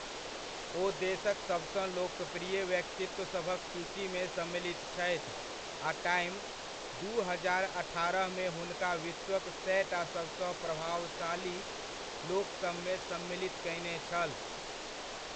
ओ देशक सबसँ लोकप्रिय व्यक्तित्व सभक सूचीमे सम्मिलित छथि आ टाइम, दू हजार अठारहमे हुनका विश्वक सएटा सबसँ प्रभावशाली लोकसभमे सम्मिलित कयने छल।